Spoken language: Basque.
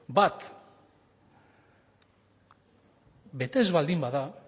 bat bete ez baldin bada